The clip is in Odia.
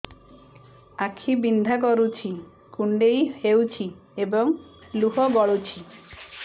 ଆଖି ବିନ୍ଧା କରୁଛି କୁଣ୍ଡେଇ ହେଉଛି ଏବଂ ଲୁହ ଗଳୁଛି